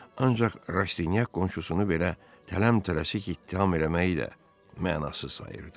Ancaq Rastinyak qonşusunu belə tələm-tələsik ittiham eləməyi də mənasız sayırdı.